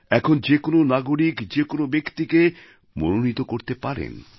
এখন যে কোনও নাগরিক যে কোনও ব্যক্তিকে মনোনীত করতে পারেন